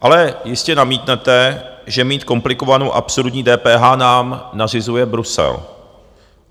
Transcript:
Ale jistě namítnete, že mít komplikovanou, absurdní DPH nám nařizuje Brusel.